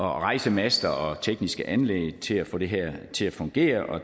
rejse master og tekniske anlæg til at få det her til at fungere og